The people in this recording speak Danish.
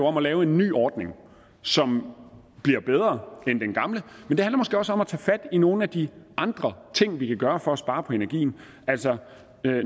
om at lave en ny ordning som bliver bedre end den gamle men det handler måske også om at tage fat i nogle af de andre ting vi kan gøre for at spare på energien altså